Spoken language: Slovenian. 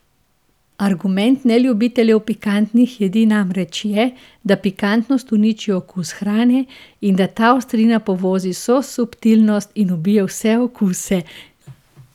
Argument neljubiteljev pikantnih jedi namreč je, da pikantnost uniči okus hrane, da ta ostrina povozi vso subtilnost in ubije vse okuse ...